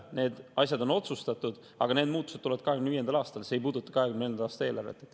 Need asjad on otsustatud, aga need muutused tulevad 2025. aastal, see ei puuduta 2024. aasta eelarvet.